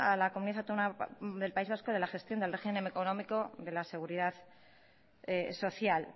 la comunidad autónoma del país vasco de la gestión del régimen económico de la seguridad social